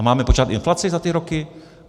A máme počítat inflaci za ty roky?